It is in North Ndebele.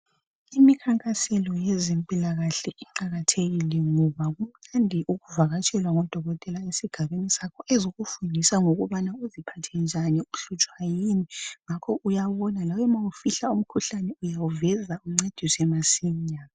Imikhankaselo yezempilakahle iqakathekile ngoba kumnandi ukuvakatshelwa ngodokotela esigabeni sakho ezokufundisa ngokubana uziphathe njani uhlutshwa yini ngakho uyabona lawe ma ufihla umkhuhlane uyawuveza uncediswa masinya.